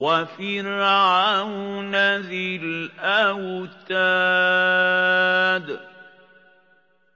وَفِرْعَوْنَ ذِي الْأَوْتَادِ